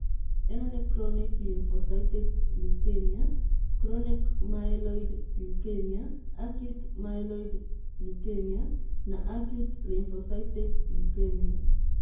ĩno nĩ chronic lymphocytic leukemia, chronic myeloid leukemia, acute myeloid leukemia, na acute lymphocytic leukemia.